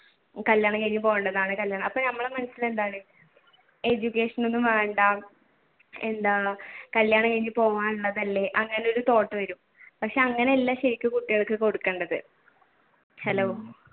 കല്യാണം കഴിഞ്ഞു പോവേണ്ടതാണ് അപ്പൊ നമ്മുടെ മനസ്സിൽ എന്താണ് education ഒന്നും വേണ്ട എന്താ കല്യാണം കഴിഞ്ഞു പോവാനുള്ളതല്ലേ അങ്ങനെ ഒരു thought വരും പക്ഷെ അങ്ങനെയല്ല ശരിക്കും കുട്ടികൾക്ക് കൊടുക്കേണ്ടത്. hello